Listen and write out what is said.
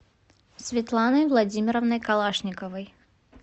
светланой владимировной калашниковой